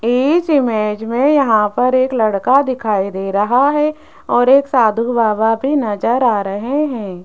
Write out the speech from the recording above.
इस इमेज में यहां पर एक लड़का दिखाई दे रहा है और एक साधु बाबा भी नजर आ रहे है।